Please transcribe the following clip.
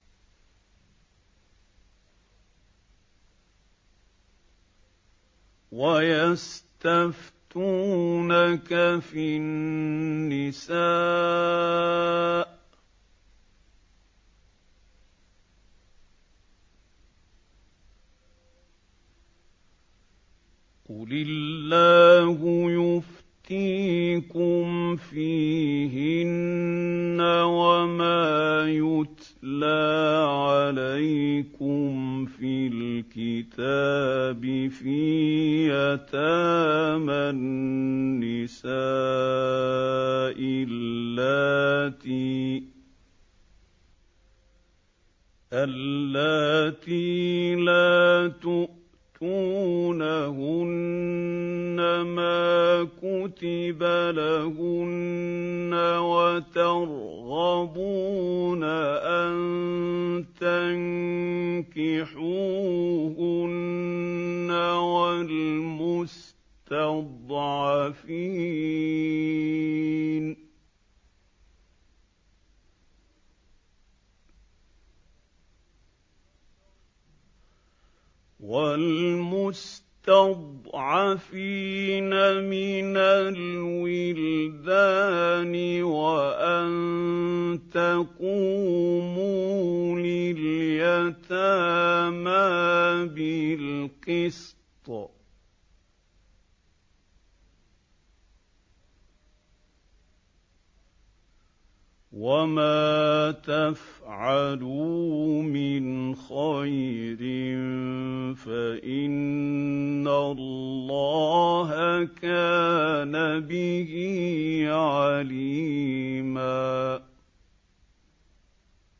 وَيَسْتَفْتُونَكَ فِي النِّسَاءِ ۖ قُلِ اللَّهُ يُفْتِيكُمْ فِيهِنَّ وَمَا يُتْلَىٰ عَلَيْكُمْ فِي الْكِتَابِ فِي يَتَامَى النِّسَاءِ اللَّاتِي لَا تُؤْتُونَهُنَّ مَا كُتِبَ لَهُنَّ وَتَرْغَبُونَ أَن تَنكِحُوهُنَّ وَالْمُسْتَضْعَفِينَ مِنَ الْوِلْدَانِ وَأَن تَقُومُوا لِلْيَتَامَىٰ بِالْقِسْطِ ۚ وَمَا تَفْعَلُوا مِنْ خَيْرٍ فَإِنَّ اللَّهَ كَانَ بِهِ عَلِيمًا